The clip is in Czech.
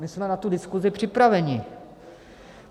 My jsme na tu diskuzi připraveni.